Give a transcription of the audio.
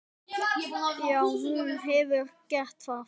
Já, hún hefur gert það.